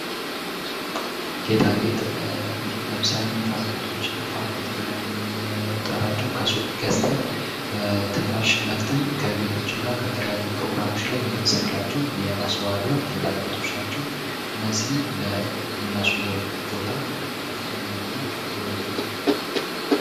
ጌጣጌጥ ለምሳሌ ንፋፊቶች ንፋፊት ብለን የምንጠራቸው ከሱቅ ገዝተን በትንፋሽ ነፍተን ከቤቶችና ከተለያዩ ፕሮግራሞች ላይ የምንሰቅላቸው የማስዋብያ ጌጣጌጦች ናቸው። እነዚህም ለምናስዉበው ቦታ ከፍተኛ የሆነ ዉበትን ይሰጡታል።